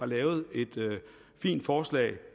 lavet et fint forslag